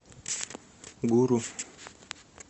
гуру